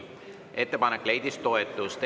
Ettepanek leidis toetust.